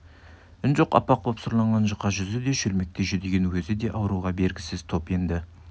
үн жоқ аппақ боп сұрланған жұқа жүзі де шөлмектей жүдеген өзі де ауруға бергісіз топ енді